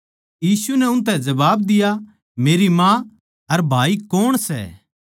यीशु नै उनतै जबाब दिया मेरी माँ अर भाई कौण सै